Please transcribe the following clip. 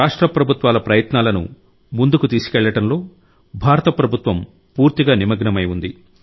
రాష్ట్ర ప్రభుత్వాల ప్రయత్నాలను ముందుకు తీసుకెళ్లడంలో భారత ప్రభుత్వం పూర్తిగా నిమగ్నమై ఉంది